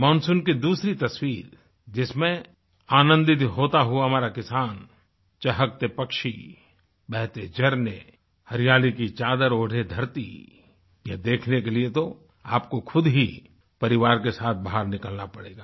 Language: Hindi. मानसून की दूसरी तस्वीर जिसमें आनंदित होता हुआ हमारा किसान चहकते पक्षी बहते झरने हरियाली की चादर ओढ़े धरती यह देखने के लिए तो आपको खुद ही परिवार के साथ बाहर निकलना पड़ेगा